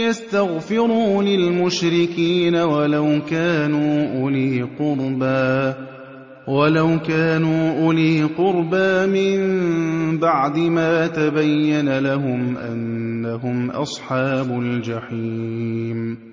يَسْتَغْفِرُوا لِلْمُشْرِكِينَ وَلَوْ كَانُوا أُولِي قُرْبَىٰ مِن بَعْدِ مَا تَبَيَّنَ لَهُمْ أَنَّهُمْ أَصْحَابُ الْجَحِيمِ